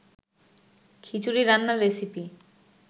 খিচুড়ি রান্নার রেসিপি